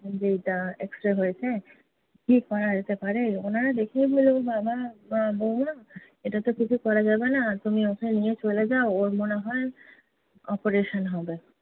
যে এইটা x-ray হয়েছে, কী করা যেতে পারে? ওনারা দেখেই বললো, ও বাবা! বউমা, এটাতো কিছু করা যাবে না। তুমি ওকে নিয়ে চলে যাও। ওর মনে হয় operation হবে।